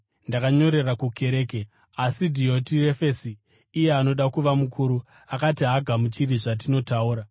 Ndakanyorera kukereke, asi Dhiotirefesi, iye anoda kuva mukuru, akati haagamuchiri zvatinotaura.